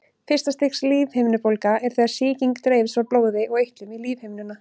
Fyrsta stigs lífhimnubólga er þegar sýking dreifist frá blóði og eitlum í lífhimnuna.